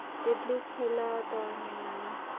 એટલે છેલ્લા ત્રણ મહિનાની